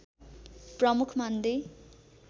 प्रमुख मान्दै